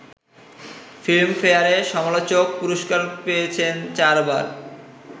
ফিল্মফেয়ারে সমালোচক পুরস্কার পেয়েছেন চারবার